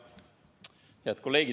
Head kolleegid!